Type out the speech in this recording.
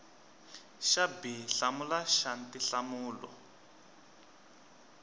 xa b hlamula xa tinhlamulo